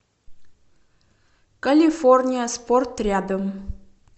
калифорния спорт рядом